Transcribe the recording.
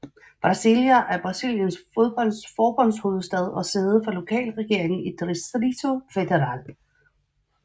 Brasília er Brasiliens forbundshovedstad og sæde for lokalregeringen i Distrito Federal